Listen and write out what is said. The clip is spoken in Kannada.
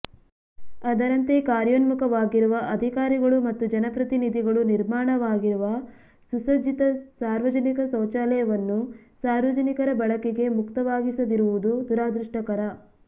ಅದರಂತೆ ಕಾರ್ಯೋನ್ಮುಖವಾಗಿರುವ ಅಧಿಕಾರಿಗಳು ಮತ್ತು ಜನಪ್ರತಿನಿಧಿಗಳು ನಿರ್ಮಾಣವಾಗಿರುವ ಸುಸಜ್ಜಿತ ಸಾರ್ವಜನಿಕ ಶೌಚಾಲಯವನ್ನು ಸಾರ್ವಜನಿಕರ ಬಳಕೆಗೆ ಮುಕ್ತವಾಗಿಸದಿರುವುದು ದುರಾದೃಷ್ಟಕರ